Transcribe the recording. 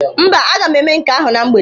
Mba, aga m eme nke ahụ na mgbede.